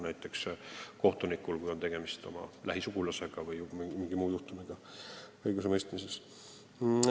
Näiteks võib kohtuniku puhul olla tegemist tema lähisugulasega vms.